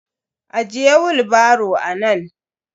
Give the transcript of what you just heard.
Ajiye willbaro nan.